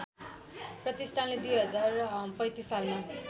प्रतिष्ठानले २०३५ सालमा